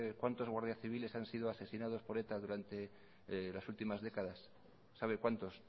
cuántos guardias civiles han sido asesinados por eta durante las últimas décadas sabe cuántos